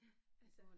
Altså